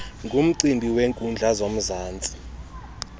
ngumcimbi weenkundla zomzantsi